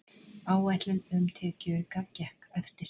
Áætlun um tekjuauka gekk eftir